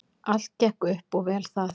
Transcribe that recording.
Allt gekk upp og vel það.